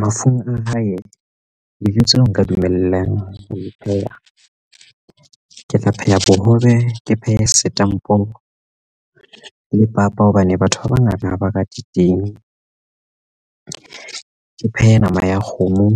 Mafung a hae dijo tseo nka dumellang ho pheha ke tlo pheha bohobe ke phehe setampo le papa hobane batho ba bangata ha ba rate teng. Ke phehe nama ya kgomo,